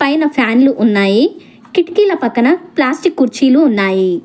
పైన ఫ్యాన్లు ఉన్నాయి కిటికీల పక్కన ప్లాస్టిక్ కుర్చీలు ఉన్నాయి.